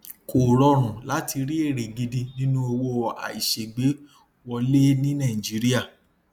kò rọrùn láti rí èrè gidi nínú owó àìṣeégbé wọlé ní nàìjíríà